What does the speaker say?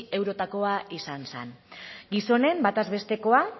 eurotakoa izan zen gizonen bataz bestekoa